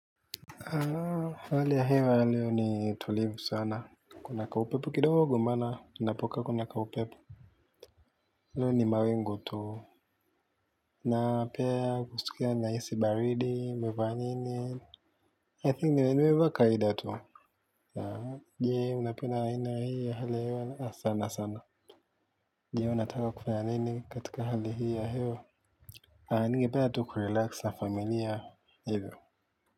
Hali ya hewa ya leo ni tulivu sana, kuna kaupepo kidogo maana, ninapokaa kuna kaupepo leo ni mawingu tu, na pia kusikia nahisi baridi, nimevaa nini, I think nimevaa kawida tu. Je, unapenda aina hii ya hali ya hewa sana sana. Je, unataka kufanya nini katika hali hii ya hewa, ningependa tu kurelax na familia hivyo. Kwa hivyo.